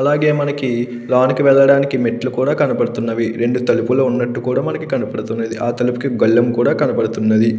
అలాగే మనకి లోనికి వెళ్లడానికి మెట్లు కూడా కనబడుతున్నవి రెండు తలుపులు ఉన్నట్టు కూడా మనకి కనపడుతున్నది ఆ తలుపుకి గొల్లెము కూడా కనబడుతున్నది.